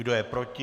Kdo je proti?